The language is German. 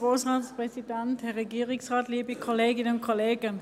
Anne Speiser, Sie haben das Wort.